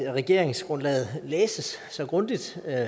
at regeringsgrundlaget læses så grundigt